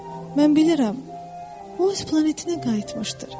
Mən bilirəm, o öz planetinə qayıtmışdır.